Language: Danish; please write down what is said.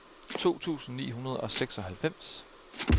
to tusind ni hundrede og seksoghalvfems